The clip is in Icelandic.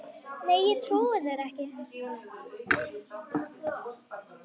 Nei, ég trúi þér ekki.